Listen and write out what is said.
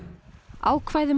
ákvæði um